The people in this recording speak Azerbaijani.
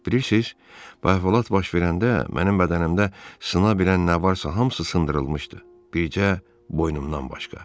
Bilirsiniz, bayaq Vola hadisə baş verəndə mənim bədənimdə sına bilən nə varsa hamısı sındırılmışdı, bircə boynumdan başqa.